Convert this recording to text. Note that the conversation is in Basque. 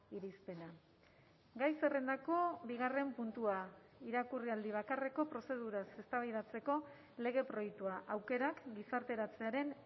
irizpena gai zerrendako bigarren puntua irakurraldi bakarreko prozeduraz eztabaidatzeko lege proiektua aukerak gizarteratzearen